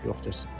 Yoxdur heç.